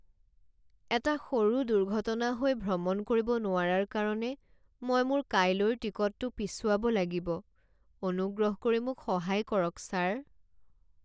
এটা সৰু দুৰ্ঘটনা হৈ ভ্ৰমণ কৰিব নোৱাৰাৰ কাৰণে মই মোৰ কাইলৈৰ টিকটটো পিছুৱাব লাগিব। অনুগ্ৰহ কৰি মোক সহায় কৰক ছাৰ।